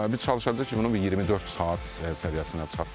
Biz çalışacağıq ki, bunu bir 24 saat səviyyəsinə çatdıraq.